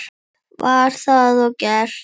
Var það og gert.